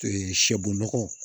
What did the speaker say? sɛ bɔnnɔgɔ